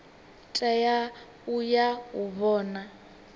tea u ya u vhona